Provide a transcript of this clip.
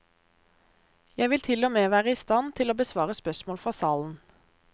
Jeg vil tilogmed være i stand til å besvare spørsmål fra salen.